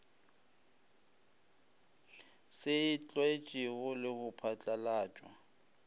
se tlwaetšwego le go phatlalatšwa